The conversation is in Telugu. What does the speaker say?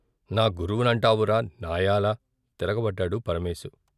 నా గురువునంటావురా నాయాల తిరగబడ్డాడు పరమేశు.